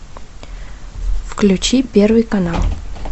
включи первый канал